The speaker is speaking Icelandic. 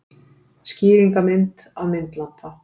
Skýringarmynd af myndlampa.